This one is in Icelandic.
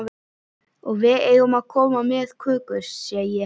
Og við eigum að koma með kökur, sé ég.